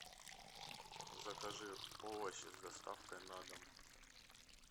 закажи овощи с доставкой на дом